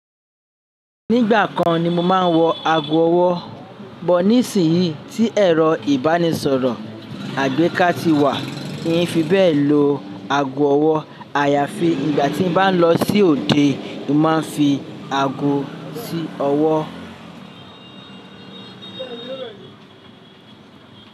Nígbà kan ni mo máa ń wọ ago ọwọ́ bọ̀ nísinyìí tí ẹ̀rọ ìbánisọ̀rọ̀ àgbéká ti wà. N ò fi bẹ́ẹ̀ lo aago ọwọ́. Àyàfi ìgbà tí n bá ń lọ sí òde, mo máa ń fi aago sí ọwọ́.